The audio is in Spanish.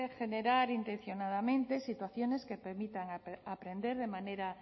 generar intencionadamente situaciones que permitan aprender de manera